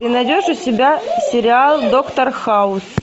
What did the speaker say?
ты найдешь у себя сериал доктор хаус